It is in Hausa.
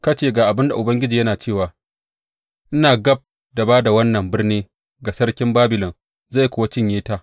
Ka ce, Ga abin da Ubangiji yana cewa, ina gab da ba da wannan birni ga sarkin Babilon, zai kuwa cinye ta.